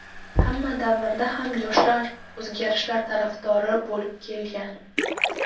Hamma davrda ham yoshlar o‘zgarishlar tarafdori bo‘lib kelgan.